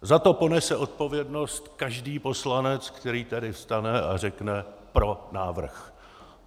Za to ponese odpovědnost každý poslanec, který tady vstane a řekne: pro návrh.